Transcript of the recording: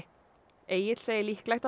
Egill segir líklegt að það